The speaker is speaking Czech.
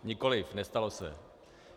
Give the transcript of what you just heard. Nikoliv, nestalo se.